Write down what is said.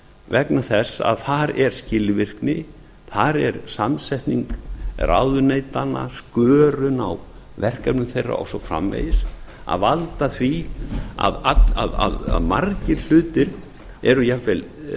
vegna þess að þar er skilvirkni þar er samsetning ráðuneytanna skörun á verkefnum þeirra og svo framvegis að valda því að margir hlutir eru jafnvel það er